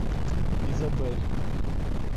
изабель